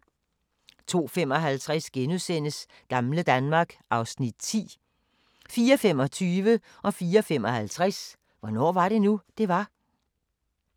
02:55: Gamle Danmark (Afs. 10)* 04:25: Hvornår var det nu, det var? 04:55: Hvornår var det nu, det var?